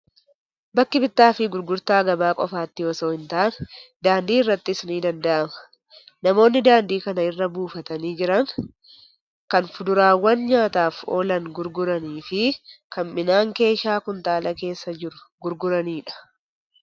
Bakki bittaa fi gurgurtaa gabaa qofaatti osoo hin taane, daandii irrattis ni danda'ama. Namoonni daandii kana irra buufatanii jiran, kan fuduraawwan nyaataaf oolan gurguranii fi kan midhaan keeshaa kuntaala keessa jiru gurguranidha.